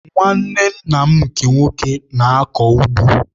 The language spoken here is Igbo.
Nwanne nna m nke nwoke na-akọ ugbo.